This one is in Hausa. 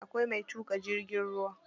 Akwai mai tuƙa jirgin ruwa.